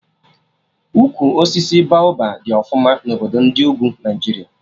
Ukwu osisi Baoba dị ọfụma na obodo ndị ugwu Naijiria